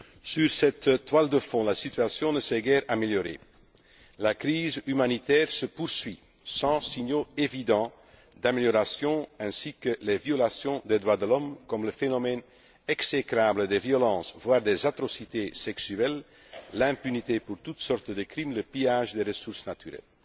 Sur cette toile de fond, la situation ne s'est guère améliorée la crise humanitaire se poursuit sans signaux évidents d'amélioration, tout comme les violations des droits de l'homme, le phénomène exécrable des violences, voire des atrocités sexuelles, l'impunité pour toutes sortes de crimes, le pillage des ressources naturelles.